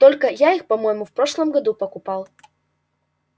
только я их по-моему в прошлом году покупал